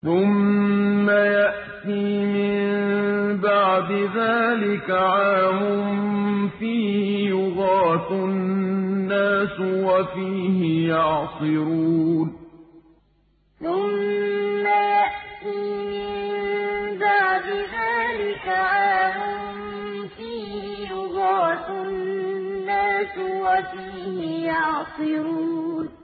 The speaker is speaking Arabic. ثُمَّ يَأْتِي مِن بَعْدِ ذَٰلِكَ عَامٌ فِيهِ يُغَاثُ النَّاسُ وَفِيهِ يَعْصِرُونَ ثُمَّ يَأْتِي مِن بَعْدِ ذَٰلِكَ عَامٌ فِيهِ يُغَاثُ النَّاسُ وَفِيهِ يَعْصِرُونَ